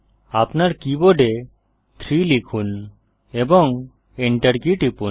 আপনার কীবোর্ডে 3 লিখুন এবং এন্টার কী টিপুন